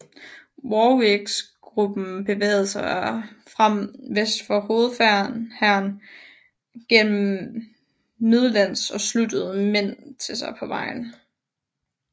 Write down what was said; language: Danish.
Warwicks gruppe bevægede sig fram vest for hovedhæren gennem Midlands og sluttede mænd til sig på vejen